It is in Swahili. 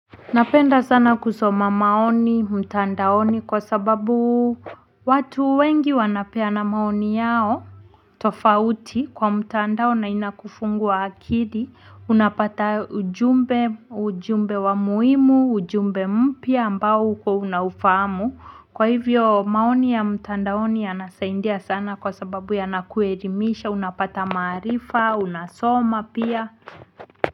Napenda sana kusoma maoni mtandaoni kwa sababu watu wengi wanapeana maoni yao. Tofauti kwa mtandao na inakufungua akili unapata ujumbe ujumbe wa muhimu ujumbe mpya ambao hukuwa unaufahamu kwa hivyo maoni ya mtandaoni yanasaidia sana kwa sababu yanakuelimisha unapata maarifa unasoma pia.